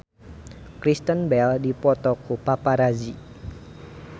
Kristen Bell dipoto ku paparazi